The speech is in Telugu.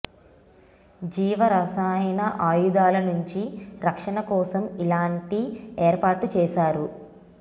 జీవ రసాయన ఆయుధాల నుంచి రక్షణ కోసం ఇలాంటి ఏర్పాటు చేశారు